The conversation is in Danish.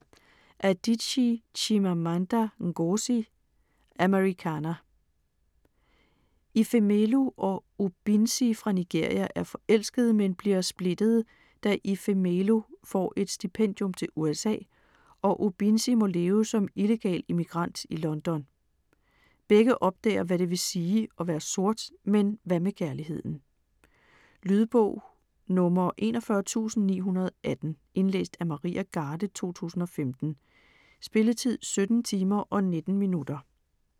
Adichie, Chimamanda Ngozi: Americanah Ifemelu og Obinzi fra Nigeria er forelskede, men bliver splittede, da Ifemelu får et stipendium til USA, og Obinzi må leve som illegal immigrant i London. Begge opdager hvad det vil sige at være sort. Men hvad med kærligheden? Lydbog 41918 Indlæst af Maria Garde, 2015. Spilletid: 17 timer, 19 minutter.